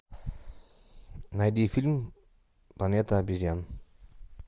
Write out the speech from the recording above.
найди фильм планета обезьян